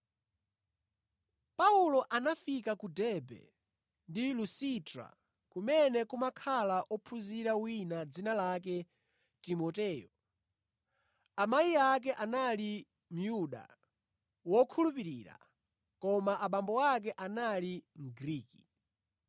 Paulo anafika ku Derbe ndi Lusitra, kumene kumakhala ophunzira wina dzina lake Timoteyo. Amayi ake anali Myuda wokhulupirira, koma abambo ake anali Mgriki.